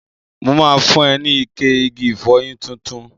Mo ma fun ẹ ní ike igi ìfọyín tuntun.